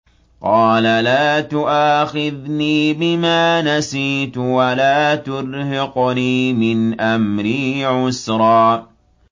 قَالَ لَا تُؤَاخِذْنِي بِمَا نَسِيتُ وَلَا تُرْهِقْنِي مِنْ أَمْرِي عُسْرًا